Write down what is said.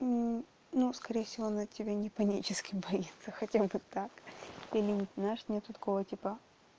ну скорее всего она тебя не панически боится хотя бы так или знаешь нет такого типа